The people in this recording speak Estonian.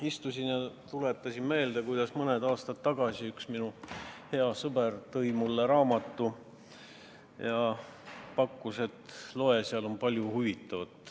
Istusin ja tuletasin meelde, kuidas mõni aasta tagasi üks minu hea sõber tõi mulle raamatu ja pakkus, et loe, seal on palju huvitavat.